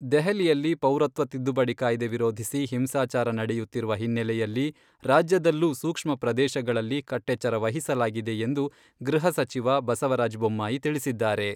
ದೆಹಲಿಯಲ್ಲಿ ಪೌರತ್ವ ತಿದ್ದುಪಡಿ ಕಾಯ್ದೆ ವಿರೋಧಿಸಿ ಹಿಂಸಾಚಾರ ನಡೆಯುತ್ತಿರುವ ಹಿನ್ನೆಲೆಯಲ್ಲಿ ರಾಜ್ಯದಲ್ಲೂ ಸೂಕ್ಷ್ಮ ಪ್ರದೇಶಗಳಲ್ಲಿ ಕಟ್ಟೆಚ್ಚರ ವಹಿಸಲಾಗಿದೆ ಎಂದು ಗೃಹ ಸಚಿವ ಬಸವರಾಜ್ ಬೊಮ್ಮಾಯಿ ತಿಳಿಸಿದ್ದಾರೆ.